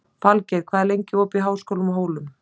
Falgeir, hvað er lengi opið í Háskólanum á Hólum?